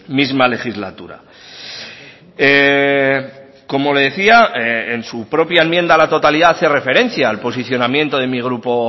misma legislatura como le decía en su propia enmienda a la totalidad hace referencia al posicionamiento de mi grupo